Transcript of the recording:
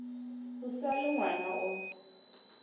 o sa le ngwana o